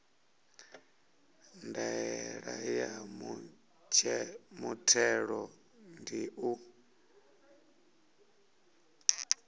ndaela ya muthelo ndi u